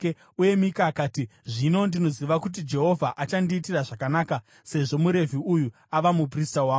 Uye Mika akati, “Zvino ndinoziva kuti Jehovha achandiitira zvakanaka, sezvo muRevhi uyu ava muprista wangu.”